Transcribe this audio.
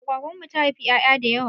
Agwagwan mu ta haifa 'ya'ya da yawa.